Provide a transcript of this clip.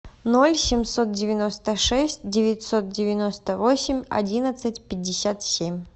ноль семьсот девяносто шесть девятьсот девяносто восемь одиннадцать пятьдесят семь